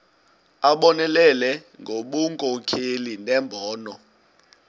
abonelele ngobunkokheli nembono